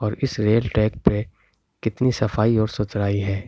और इस rail track पे कितनी सफाई और सुथराई है।